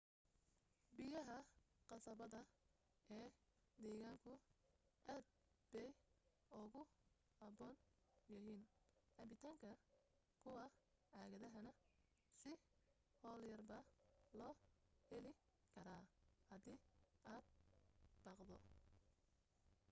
biyaha qasabada ee deegaanku aad bay ugu habboon yihiin cabbitaanka kuwa caagadahana si hawl yarbaa loo heli karaa hadii aad baqdo